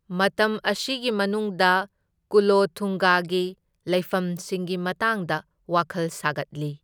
ꯃꯇꯝ ꯑꯁꯤꯒꯤ ꯃꯅꯨꯡꯗ ꯀꯨꯂꯣꯊꯨꯡꯒꯒꯤ ꯂꯩꯐꯝꯁꯤꯡꯒꯤ ꯃꯇꯥꯡꯗ ꯋꯥꯈꯜ ꯁꯥꯒꯠꯂꯤ꯫